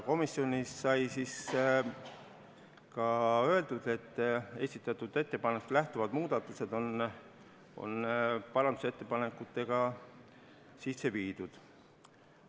Komisjonis sai ka öeldud, et esitatud ettepanekust lähtuvad muudatused on parandusettepanekutega sisse viidud.